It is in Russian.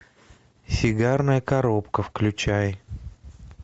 сигарная коробка включай